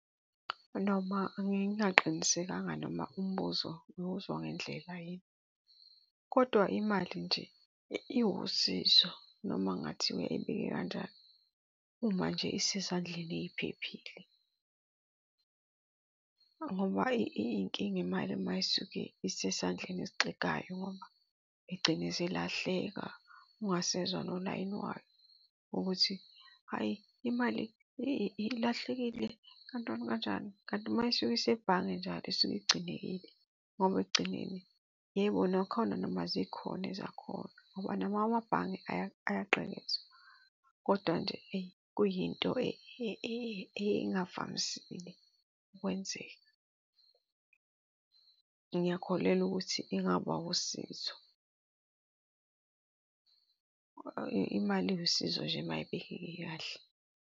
Noma ngingaqinisekanga noma umbuzo ngiwuzwa ngendlela yini, kodwa imali nje iwusizo noma kungathiwa ebekeke kanjani uma nje isezandleni eyiphephile. Ngoba iy'nkinga imali uma isuke isesandleni esixegayo igcine isilahleka, ungasezwa nolayini wayo ukuthi, hhayi imali ilahlekile, kanjani, kanjani. Kanti uma isuka isebhange njalo isuke igcinekile ngoba ekugcineni. Yebo, nakhona noma zikhona ezakhona ngoba nawo amabhange ayagqekezwa. Kodwa nje eyi, kuyinto engavamisile ukwenzeka. Ngiyakholelwa ukuthi ingaba usizo. Imali iwusizo nje uma ibekeke kahle.